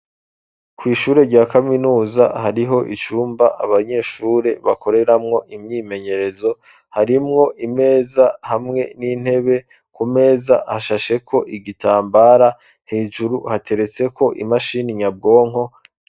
Kw'ishure rya kaminuza hariho icumba abanyeshure bakoreramwo imyimenyerezo, harimwo imeza hamwe n'intebe, ku meza hashasheko igitambara, hejuru hateretseko imashini nyabwonko.